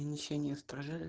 ничего не ест поржа